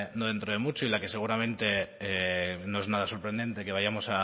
de mucho y la que seguramente no es nada sorprendente que vayamos